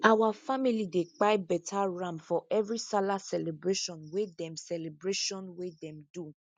our family dey kpai beta ram for every sallah celebration wey them celebration wey them do